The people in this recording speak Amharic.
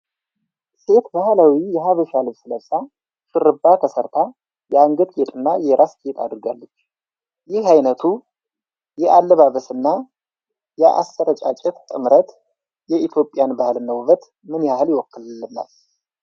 ሴት ባህላዊ የሐበሻ ልብስ ለብሳ፣ ሹሩባ ተሰርታ፣ የአንገት ጌጥና የራስ ጌጥ አድርጋለች። ይህ አይነቱ የአለባበስና የአስረጫጫት ጥምረት የኢትዮጵያን ባህልና ውበት ምን ያህል ይወክላል?